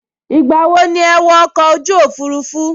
Ìgbà wo ni ẹ wọ ọkọ̀ òfurufú??